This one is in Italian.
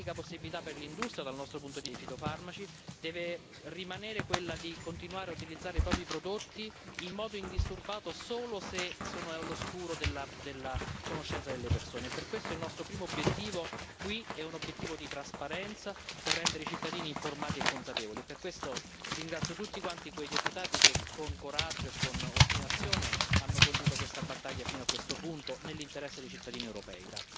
L'unica possibilità per l'industria dei fitofarmaci, dal nostro punto di vista, deve rimanere quella di continuare a utilizzare i propri prodotti in modo indisturbato solo se sono all'oscuro della conoscenza delle persone e per questo è il nostro primo obiettivo, qui, è un obiettivo di trasparenza, per rendere i cittadini informati e consapevoli, e per questo ringrazio tutti quei deputati che, con coraggio e con ostinazione, hanno condotto questa battaglia fino a questo punto, nell'interesse dei cittadini europei.